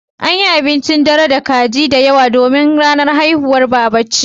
An yi abincin dare tare da kaji da yawa domin ranar haihuwar Baba ce.